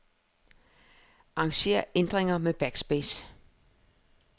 Arranger ændringer med backspace.